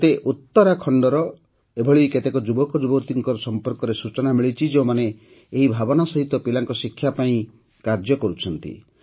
ମୋତେ ଉତ୍ତରାଖଣ୍ଡର ଏପରି କେତେକ ଯୁବକ ଯୁବତୀଙ୍କ ସମ୍ପର୍କରେ ସୂଚନା ମିଳିଛି ଯେଉଁମାନେ ଏହି ଭାବନା ସହିତ ପିଲାଙ୍କ ଶିକ୍ଷା ପାଇଁ କାର୍ଯ୍ୟ କରୁଛନ୍ତି